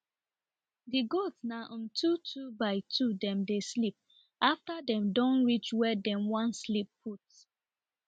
the goats na um two two by two dem dey sleep after dem do reach where dem wan sleep put